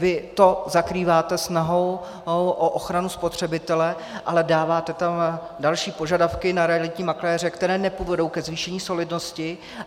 Vy to zakrýváte snahou o ochranu spotřebitele, ale dáváte tam další požadavky na realitní makléře, které nepovedou ke zvýšení solidnosti.